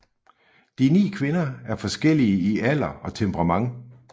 De ni kvinder er forskellige i alder og temperament